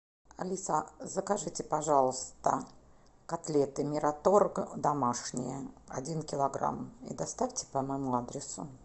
алиса закажите пожалуйста котлеты мираторг домашние один килограмм и доставьте по моему адресу